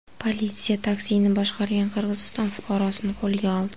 Politsiya taksini boshqargan Qirg‘iziston fuqarosini qo‘lga oldi.